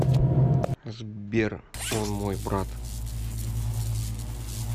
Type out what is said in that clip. сбер он мой брат